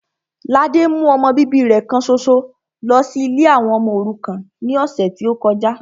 Ladé mú ọmọ bíbí rẹ kan ṣoṣo lọ sí ilé àwọn ọmọ òrukàn ní ọ̀sẹ̀ tí ó kọjá